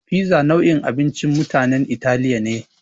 Fiza nau'in abincin mutanen Italiya ne.